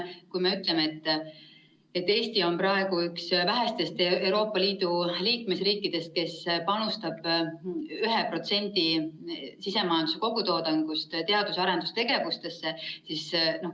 Eesti on praegu üks vähestest Euroopa Liidu liikmesriikidest, kes panustab 1% sisemajanduse kogutoodangust teadus‑ ja arendustegevusse.